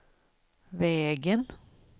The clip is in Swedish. vägen